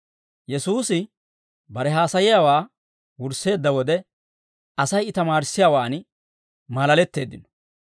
Yesuusi bare haasayiyaawaa wursseedda wode, Asay I tamaarissiyaawaan maalaletteeddino.